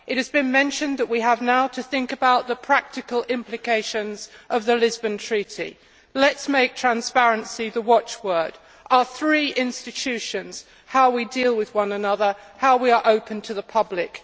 It has been mentioned that we now have to think about the practical implications of the Lisbon Treaty. Let us make transparency the watchword for our three institutions and how we deal with one another, how we are open to the public.